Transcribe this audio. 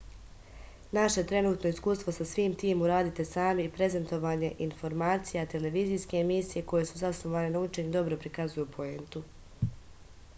naše trenutno iskustvo sa svim tim uradite sami i prezentovanje informacija televizijske emisije koje su zasnovane na učenju dobro prikazuju poentu